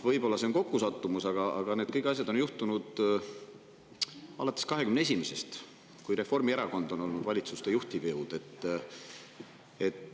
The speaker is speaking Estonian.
Võib-olla see on kokkusattumus, aga kõik need asjad on juhtunud alates 2021. aastast, kui Reformierakond on olnud valitsuste juhtiv jõud.